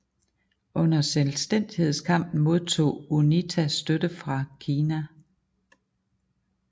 Under selvstændighedskampen modtog UNITA støtte fra Kina